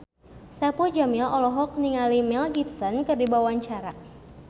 Saipul Jamil olohok ningali Mel Gibson keur diwawancara